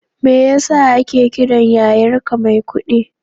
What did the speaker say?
Me ya sa ake kiran yayarka Maikuɗi?